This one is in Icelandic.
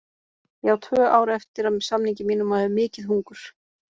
Ég á tvö ár eftir af samningi mínum og hef mikið hungur.